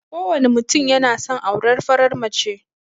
Kowane mutum yana son aurar farar mace.